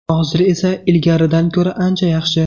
Hozir esa ilgarigidan ko‘ra ancha yaxshi.